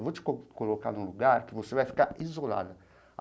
Eu vou te co colocar num lugar que você vai ficar isolada.